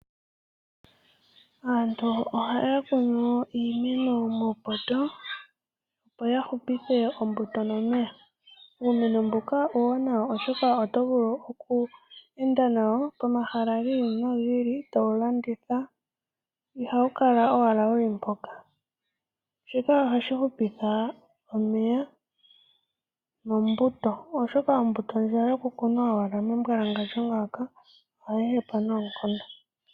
Aantu ohaya kunu wo iimeno muupoto, opo ya hupithe ombuto nomeya. Uumeno mbuka uuwanawa, oshoka oto vulu oku enda nawo komahala gi ili nogi ili towu landitha. Ihawu kala owala wu li mpoka. Shika ohashi hupitha omeya nombuto, oshoka ombuto ndjoka yokukuna owala membwalangandjo ngaaka ohayi hepa noonkondo.